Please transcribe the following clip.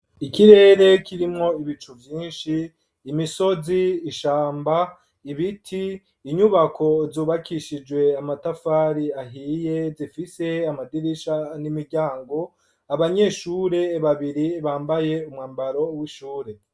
Ikirere kirimwo ibicu vyinshi imisozi ishamba ibiti inyubako zubakishijwe amatafari ahiye zifise amadirisha n'imiryango abanyeshure babiri bambaye umwambaro w'ishure.